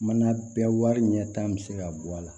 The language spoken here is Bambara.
Mana bɛɛ wari ɲɛ tan bɛ se ka bɔ a la